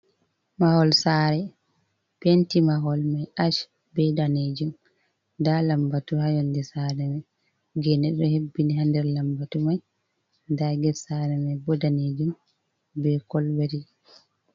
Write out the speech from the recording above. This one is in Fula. Mahol saare, penti mahol mai ash be danejum nda lambatu ha yonde saare mai, geene ɗo hebbini ha nder lambatu mai, nda get saare mai bo daneejum be kolbet.